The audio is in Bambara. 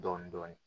Dɔɔnin dɔɔnin